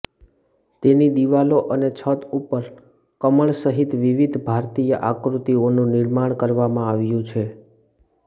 તેની દીવાલો અને છત ઉપર કમળસહિત વિવિધ ભારતીય આકૃતિઓનું નિર્માણ કરવામાં આવ્યું છે